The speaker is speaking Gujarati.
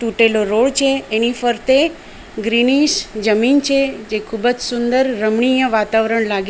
પેલો રોડ છે એની ફરતે ગ્રીનિશ જમીન છે જે ખૂબ જ સુંદર રમણીય વાતાવરણ લાગે --